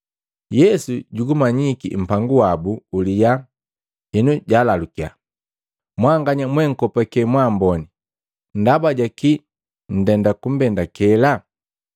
Yesu jugumanyiki mpangu wabu uliyaa henu jalalukiya, “Mwanganya monkopake mwamboni ndaba jaki nndenda kumbendakela?